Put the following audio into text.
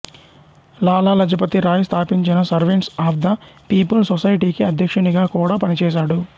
లాలా లజపతి రాయ్ స్థాపించిన servants of the people సొసైటీకి అధ్యక్షునిగా కూడా పనిచేశాడు